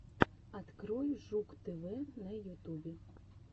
открой жук тв на ютубе